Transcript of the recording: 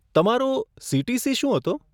તમારો સીટીસી શું હતો?